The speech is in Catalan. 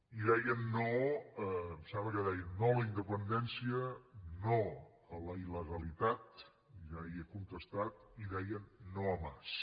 i deien no em sembla que deien no a la independència no a la il·legalitat ja hi he contestat i deien no a mas